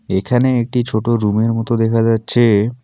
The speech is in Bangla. এখানে একটি ছোট রুমের মত দেখা যাচ্ছে।